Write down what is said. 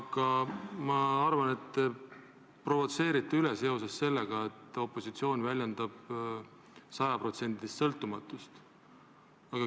Aga ma arvan, et te provotseerite üle seoses sellega, et opositsioon väljendab sajaprotsendilist sõltumatust.